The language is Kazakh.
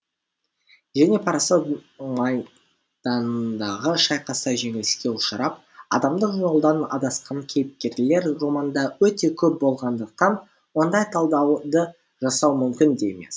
және парасат майданындағы шайқаста жеңіліске ұшырап адамдық жолдан адасқан кейіпкерлер романда өте көп болғандықтан ондай талдауды жасау мүмкін де емес